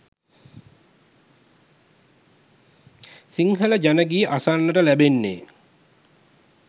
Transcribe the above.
සිංහල ජන ගී අසන්නට ලැබෙන්නේ